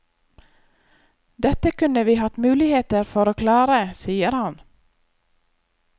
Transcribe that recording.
Dette kunne vi hatt muligheter for å klare, sier han.